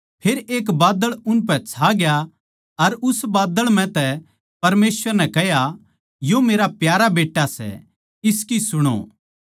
फेर एक बादळ उनपै छाग्या अर उस बादळ म्ह तै परमेसवर नै कह्या यो मेरा प्यारा बेट्टा सै इसकी सुणो